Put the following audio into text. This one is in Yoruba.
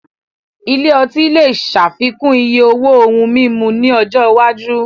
Ilé ọtí lè ṣàfikún iye owó ohun mímu ní ọjọ́ iwájú